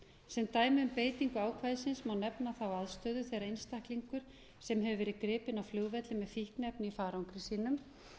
sem dæmi um beitingu ákvæðisins má nefna þá aðstöðu þegar einstaklingur sem hefur verið gripinn á flugvelli með fíkniefni í farangri sínum